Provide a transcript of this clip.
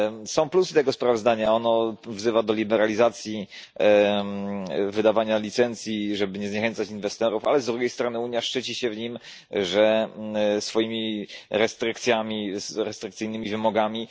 Są plusy tego sprawozdania, ono wzywa do liberalizacji wydawania licencji, żeby nie zniechęcać inwestorów, ale z drugiej strony Unia szczyci się w nim swoimi restrykcjami, restrykcyjnymi wymogami.